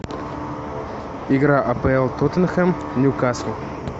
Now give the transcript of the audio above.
игра апл тоттенхэм ньюкасл